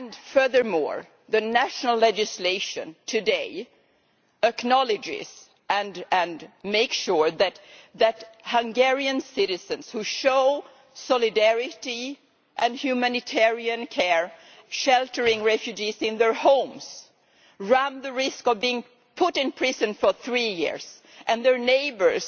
Furthermore, the national legislation today makes sure that Hungarian citizens who show solidarity and humanitarian care by sheltering refugees in their homes run the risk of being put in prison for three years, and their neighbours